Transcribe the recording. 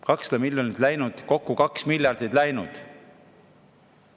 200 miljonit läinud, kokku 2 miljardit läinud!